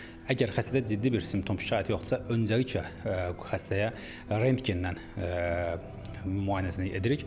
Əgər xəstədə ciddi bir simptom, şikayət yoxdursa, öncəliklə xəstəyə rentgenlə müayinəsini edirik.